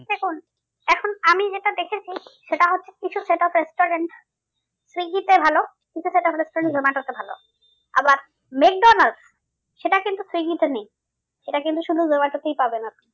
দেখুন এখন আমি যেটা দেখেছি সেটা হচ্ছে কিছু restaurant সুইগীতে ভালো কিছু restaurant জোমাটোতে ভালো। আবার মেকডনাল্ড্স সেটা কিন্তু সুইগীতে নেই এটা কিন্তু শুধু জোমাটোতেই পাবেন আপনি।